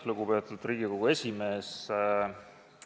Lugupeetud Riigikogu esimees!